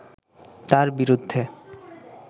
তাঁর বিরুদ্ধে